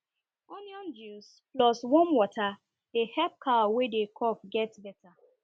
onion juice plus warm water dey help cow wey dey cough get better